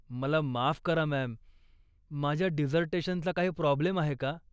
मला माफ करा मॅम, माझ्या डिझर्टेशनचा काही प्राॅब्लेम आहे का?